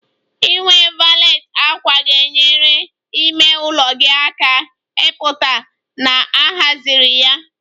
Inwe valet ákwà ga-enyere ime ụlọ gị aka ịpụta na a haziri ya